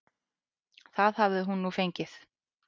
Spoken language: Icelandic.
Það hafi hún nú fengið.